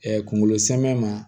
kungolo samiya ma